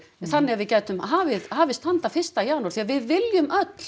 þannig að við gætum hafist hafist handa fyrsta janúar því við viljum öll